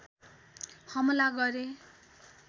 हमला गरे